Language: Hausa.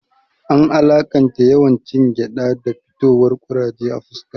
An alaƙanta yawan cin gyaɗa da fitowar kuraje a fuska